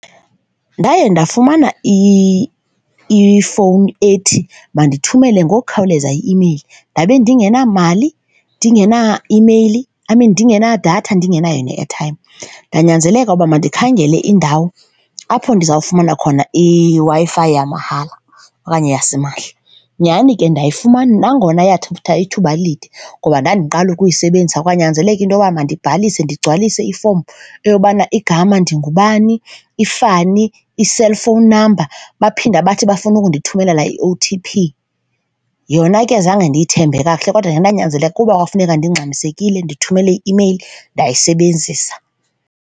Ndaye ndafumana ifowuni ethi mandithumele ngokukhawuleza i-imeyili ndabe ndingenamali, ndingenaimeyili. I mean, ndingenadatha ndingenayo ne-airtime. Ndanyanzeleka ukuba mandikhangele indawo apho ndizawufumana khona iWi-Fi yamahala okanye yasimahla. Nyhani ke ndayifumana nangona yathatha ithuba elide ngoba ndandiqala ukuyisebenzisa. Kwanyanzeleleka into yokuba mandibhalise, ndigcwalise ifomu eyobana igama ndingubani, ifani, iselfowuni namba, baphinde bathi bafuna unkundithumelela i-O_T_P. Yona ke zange ndiyithembe kakuhle kodwa ndanyanzeleka kuba kwakufuneka ndingxamisekile ndithumele i-imeyili, ndayisebenzisa.